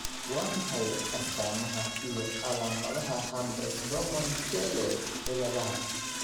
Waa maxay astamaha iyo calaamadaha Hamres Doman Keele ciladaha?